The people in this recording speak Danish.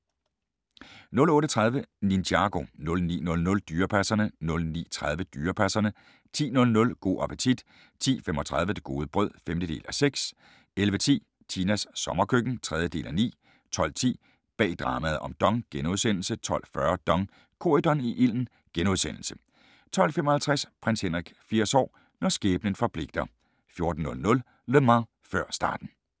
08:30: Ninjago 09:00: Dyrepasserne 09:30: Dyrepasserne 10:00: Go' appetit 10:35: Det gode brød (5:6) 11:10: Tinas sommerkøkken (3:9) 12:10: Bag dramaet om DONG * 12:40: DONG – Corydon i ilden * 12:55: Prins Henrik 80 år – når skæbnen forpligter 14:00: Le Mans: Før starten